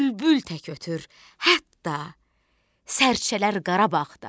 Bülbül tək ötür hətta, sərcələr Qarabağda.